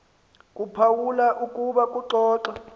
kuphawula ukuba kuxoxa